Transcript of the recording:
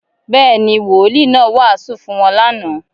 Bẹ́ẹ̀́ ni, Wolìí náà wàásù fún wọn lánàá